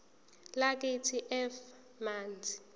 lakithi f manzi